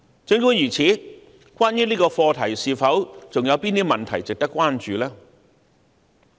儘管如此，關於這個課題，是否還有甚麼問題值得關注？